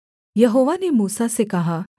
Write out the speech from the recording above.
यहोवा ने मूसा से कहा